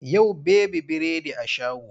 Yau baby biredi a shago.